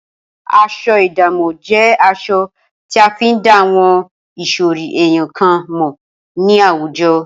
As̩o̩ ìdámò̩ jé̩ as̩o̩ tí a fi ń dá àwo̩n ìsò̩rí èèyàn kan mò̩ ní àwùjo̩